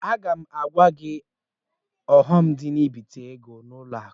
Aga m agwa gị ọghọm dị n'ibite ego n'ụlọ akụ.